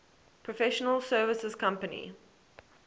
professional services company